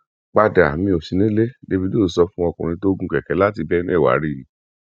padà mí ó sì nílé davido sọ fún ọkùnrin tó gun kẹkẹ láti benue wáá rí i